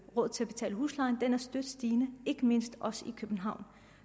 råd til at betale husleje er støt stigende ikke mindst i københavn